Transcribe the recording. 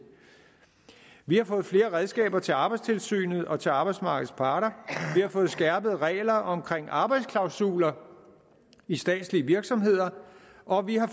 vi har fået flere redskaber til arbejdstilsynet og til arbejdsmarkedets parter vi har fået skærpede regler omkring arbejdsklausuler i statslige virksomheder og vi har